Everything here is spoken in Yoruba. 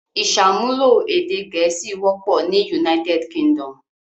Ìṣàmúlò èdè Gẹ̀ẹ́sì wọ́pọ̀ ní United Kingdom.